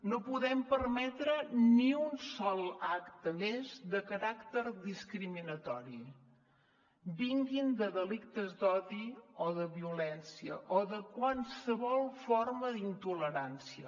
no podem permetre ni un sol acte més de caràcter discriminatori vingui de delictes d’odi o de violència o de qualsevol forma d’intolerància